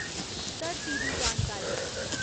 धरती दी जानकारी